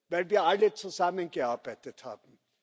weil wir alle zusammengearbeitet haben.